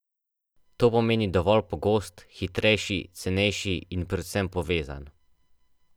To pomeni dovolj pogost, hitrejši, cenejši in predvsem povezan.